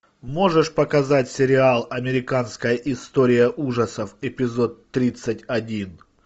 можешь показать сериал американская история ужасов эпизод тридцать один